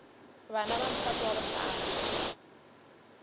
bana ba mphato wa bohlano